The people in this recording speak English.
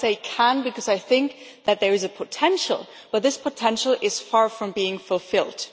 But I say can' because I think that there is a potential but this potential is far from being fulfilled.